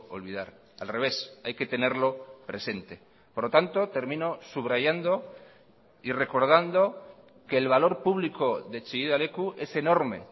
olvidar al revés hay que tenerlo presente por lo tanto termino subrayando y recordando que el valor público de chillida leku es enorme